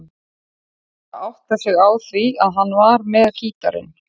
Ekki bara áttað sig á því að hann var með gítarinn.